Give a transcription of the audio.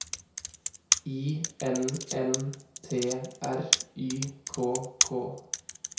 I N N T R Y K K